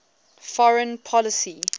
foreign policy